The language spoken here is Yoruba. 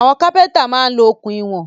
Àwọn kápẹ́ntà máa ń lo okùn ìwọ̀n